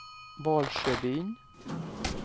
Valsjöbyn